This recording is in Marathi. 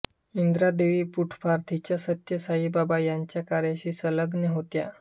ईंद्रा देवी पुट्टपार्थीच्या सत्य साई बाबा यांच्या कार्याशी संलग्न होत्या